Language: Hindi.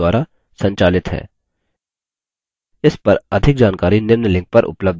इस पर अधिक जानकारी निम्न लिंक पर उपलब्ध है